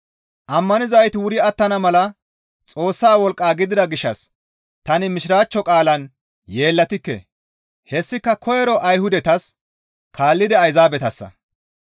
Ammanizayti wuri attana mala Xoossa wolqqa gidida gishshas tani mishiraachcho qaalan yeellatikke; hessika koyro Ayhudatas kaallidi Ayzaabetassa.